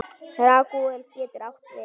Ragúel getur átt við